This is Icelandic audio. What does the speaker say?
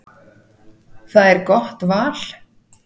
Það er gott val.